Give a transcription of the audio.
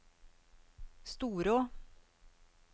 Storå